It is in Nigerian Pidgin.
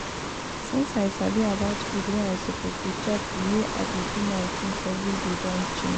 since i sabi about food wey i suppose dey chop the way i dey do my things every day don change